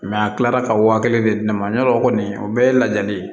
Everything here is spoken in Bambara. a kilara ka wa kelen de di ne ma yalɔ kɔni o bɛɛ ye lajali ye